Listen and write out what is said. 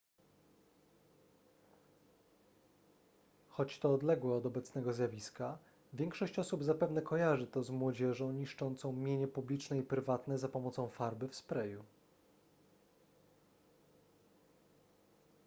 choć to odległe od obecnego zjawiska większość osób zapewne kojarzy to z młodzieżą niszczącą mienie publiczne i prywatne za pomocą farby w sprayu